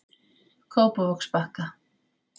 Kópavogsbakka